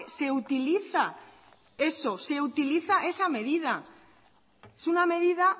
se utiliza esa medida es una medida